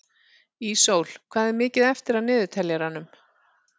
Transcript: Ísól, hvað er mikið eftir af niðurteljaranum?